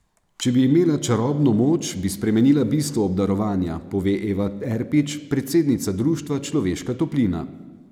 Če bi imela čarobno moč, bi spremenila bistvo obdarovanja, pove Eva Erpič, predsednica društva Človeška toplina.